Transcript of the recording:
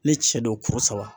Ni cɛ don kuru saba